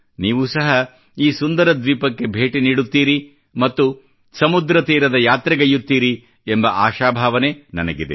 ನೀವೂ ಸಹ ಈ ಸುಂದರ ದ್ವೀಪಕ್ಕೆ ಭೇಟಿ ನೀಡುತ್ತೀರಿ ಮತ್ತು ಸಮುದ್ರ ತೀರದ ಯಾತ್ರೆಗೈಯುತ್ತೀರಿ ಎಂಬ ಆಶಾಭಾವನೆ ನನಗಿದೆ